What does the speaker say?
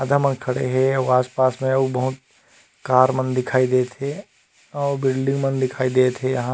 आधा मान खड़े है अउ आस पास में अउ बहुत कार मन दिखाई देत हे अउ बिल्डिंग मन दिखाई देत हे यहाँ--